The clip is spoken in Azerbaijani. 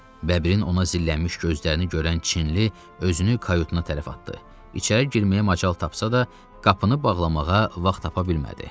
Bəbirin ona zillənmiş gözlərini görən Çinli özünü kayutuna tərəf atdı, içəri girməyə macal tapsa da, qapını bağlamağa vaxt tapa bilmədi.